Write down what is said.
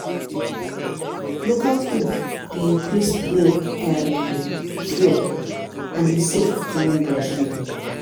local food dey increase milk um flow and e safe during breastfeeding.